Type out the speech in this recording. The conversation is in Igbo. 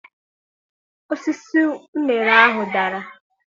Osisi uṅere ahụ dara.